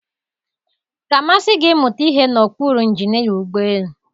Ọ ga-amasị gị ịmụta ihe n'okpuru injinia ụgbọ elu?